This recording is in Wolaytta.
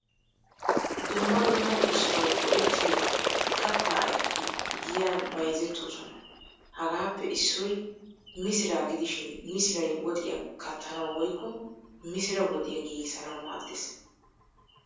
Dumma dumma usttawu go"ettiyo katta ayfetti giyan bayzettoosona. Hagaappe issoy misiraa gidishin misiray woxiyaa kattanawu woykko misiraa woxxiyaa giigisanawu maaddees.